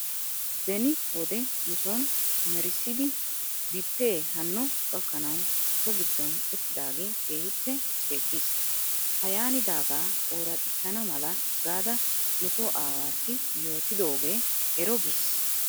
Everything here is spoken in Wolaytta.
Beni wode nuson merissidi bipee hanno gakkanaw so giddon utiigidaagee kiihippe ceeggis. Ha yaanidaagaa ooraxxissana mala gaada nuso aawaassi yootidoogee ero gis.